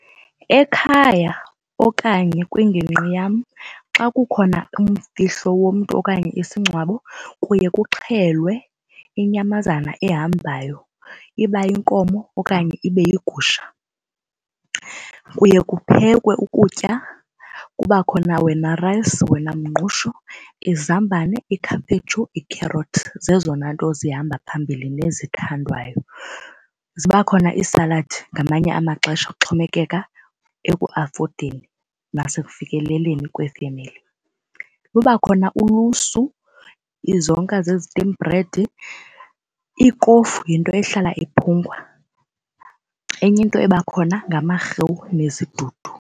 Ekhaya okanye kwingingqi yam xa kukhona umfihlo womntu okanye isingcwabo kuye kuxhelwe inyamazana ehambayo iba yinkomo okanye ibe yigusha. Kuye kuphekwe ukutya kuba khona wena rice, wena mngqusho, izambane, ikhaphetshu, ikherothi, zezona nto zihamba phambili ezithandwayo. Ziba khona iisaladi ngamanye amaxesha kuxhomekeka ekuafodeni nasekufikeleleni kwefemeli. Luba khona ulusu izonka ze-steam bread, ikofu yinto ehlala iphungwa. Enye into ebakhona ngamarhewu nezidudu.